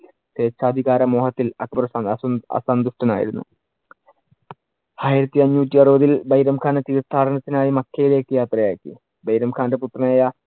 സ്വേച്ഛാധികാര മോഹത്തിൽ അക്ബർ അസ~ അസന്തുഷ്ടൻ ആയിരുന്നു. ആയിരത്തിഅഞ്ഞൂറ്റി അറുപതിൽ ബൈരം ഖാനെ തീർത്ഥാടനത്തിനായി മക്കയിലേക്ക് യാത്രയാക്കി. ബൈരം ഖാന്‍റെ പുത്രനായ